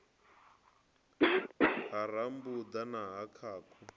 ha rambuḓa na ha khakhu